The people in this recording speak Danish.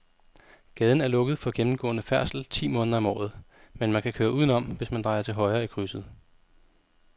Gaden er lukket for gennemgående færdsel ti måneder om året, men man kan køre udenom, hvis man drejer til højre i krydset.